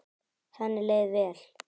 Henni leið vel.